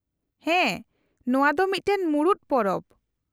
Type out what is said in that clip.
-ᱦᱮᱸ ᱱᱚᱶᱟ ᱫᱚ ᱢᱤᱫᱴᱟᱝ ᱢᱩᱬᱩᱫ ᱯᱚᱨᱚᱵᱽ ᱾